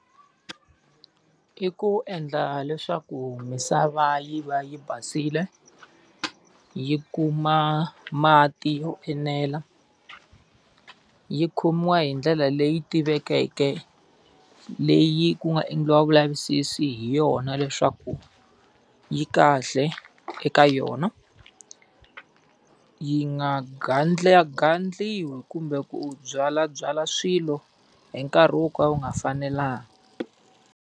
I ku endla leswaku misava yi va yi basile, yi kuma mati yo enela, yi khomiwa hi ndlela leyi tivekeke leyi ku nga endliwa vulavisisi hi yona leswaku yi kahle eka yona, yi nga gandlagandliwi kumbe ku byalabyala swilo hi nkarhi wo ka wu nga fanelangi.